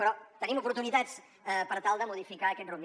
però tenim oportunitats per tal de modificar aquest rumb